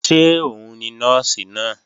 Ṣé òun ni Nọ́ọ̀sì náà?